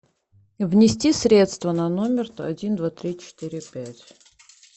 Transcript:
внести средства на номер один два три четыре пять